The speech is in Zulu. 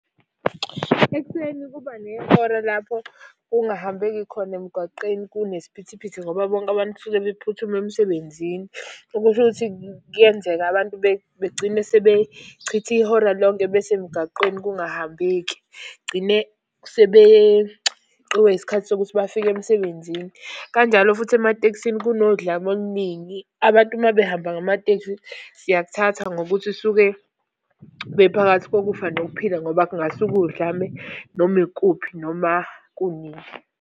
Ekuseni kuba nehora lapho kungahambeki khona emgwaqeni kunesiphithiphithi ngoba bonke abantu suke bephuthuma emsebenzini. Okusho ukuthi kuyenzeka abantu begcine sebechitha ihora lonke besemgaqweni kungahambeki. Gcine sebeqiwe isikhathi sokuthi bafike emsebenzini. Kanjalo futhi ematekisini kunodlame oluningi, abantu uma behamba ngamateksi, siyakuthatha ngokuthi suke bephakathi kokufa nokuphila ngoba kungasuka udlame noma ikuphi, noma kunini.